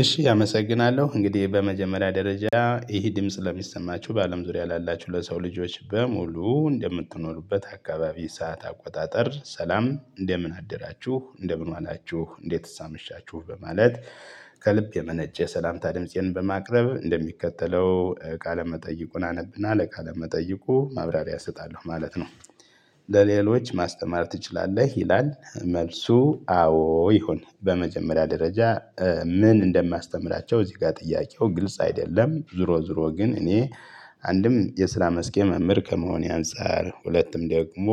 እሺ አመሰግናለው እንግዴ በመጀመሪያ ደረጃ ይህ ድምጽ ለሚሰማቹ በአለም ዙሪያ ላላቹ ለሰው ልጆች በሙሉ እንደምትኖሩበት አካባቢ ሰዓት አቆጣጠር ሰላም እንደምን አደራቹ እንደምን ዋላቹ እንዴትስ አመሻቹ በማለት ከልብ የመነጨ ሰላምታ ድምፄን በማቅረብ እንደሚከተለው ቃለመጠይቁን አነብና ለቃለመጠይቁ ማብራሪያ እሰጣለው ማለት ነው። ለሌሎች ማስተማር ትችላለህ ይላል። መልሱ አዎ ይሁን በመጀመሪያ ደረጃ ምን እንደማያስተምራቸው እዚ ጋር ጥያቄው ግልጽ አይደለም። ዞሮ ዞሮ ግን እኔ አንድም የስራ መስኬ መምህር ከመሆኔ አንፃር ሁለትም ደግሞ።